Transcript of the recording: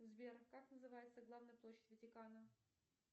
сбер как называется главная площадь ватикана